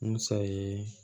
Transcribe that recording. Musa ye